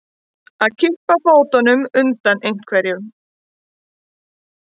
Að kippa fótunum undan einhverju